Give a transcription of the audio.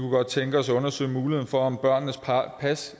godt tænke os at undersøge muligheden for om børnenes pas